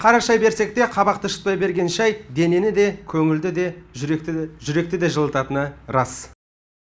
қара шай берсек те қабақты ішіп берген шай денені де көңілді де жүректі де жылытатыны рас